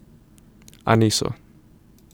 A niso.